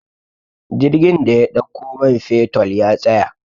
jirgin da ya ɗauko manfetol ya tsaya